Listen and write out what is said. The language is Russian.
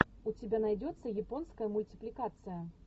у тебя найдется японская мультипликация